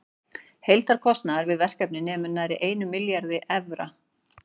Heildarkostnaður við verkefnið nemur nærri einum milljarði evra.